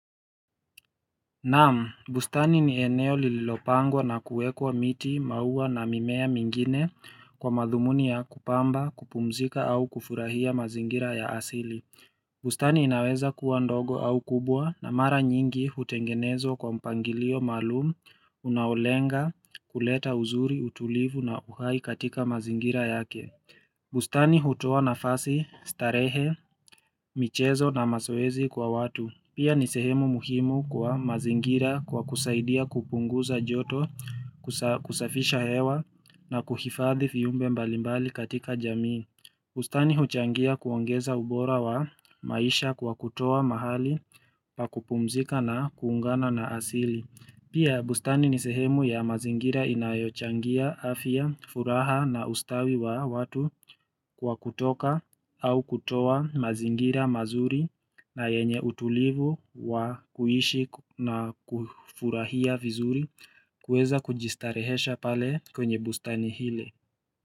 Naam, bustani ni eneo lililopangwa na kuwekwa miti, maua na mimea mingine kwa madhumuni ya kupamba, kupumzika au kufurahia mazingira ya asili. Bustani inaweza kuwa ndogo au kubwa na mara nyingi hutengenezwa kwa mpangilio maalum, unaolenga kuleta uzuri utulivu na uhai katika mazingira yake. Bustani hutoa nafasi starehe, michezo na mazoezi kwa watu Pia ni sehemu muhimu kwa mazingira kwa kusaidia kupunguza joto kusafisha hewa na kuhifadhi viumbe mbalimbali katika jamii bustani huchangia kuongeza ubora wa maisha kwa kutoa mahali pakupumzika na kuungana na asili Pia bustani ni sehemu ya mazingira inayochangia afya furaha na ustawi wa watu kwa kutoka au kutowa mazingira mazuri na yenye utulivu wa kuishi na kufurahia vizuri kuweza kujistarehesha pale kwenye bustani hile.